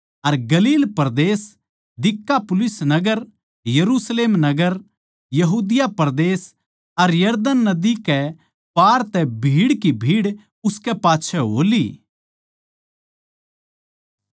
अर गलील परदेस दिकापुलिस नगर यरुशलेम नगर यहूदिया परदेस अर यरदन नदी कै पार तै भीड़ की भीड़ उसकै पाच्छै हो ली